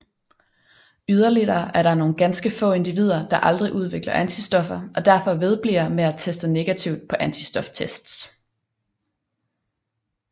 Yderligere er der nogle ganske få individer der aldrig udvikler antistoffer og derfor vedbliver med at teste negativt på antistoftests